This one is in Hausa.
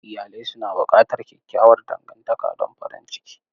Iyalai suna buƙatar kyakkyawar dangantaka don farin ciki.